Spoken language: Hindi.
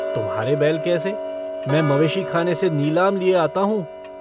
तुम्हारे बैल कैसे? मैं मवेशीखाने से नीलाम लिए आता हूँ।